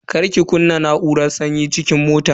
Kar ki kunna na'uran sanyin cikin motan.